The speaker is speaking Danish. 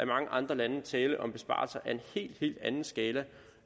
mange andre lande tale om besparelser af en helt helt anden skala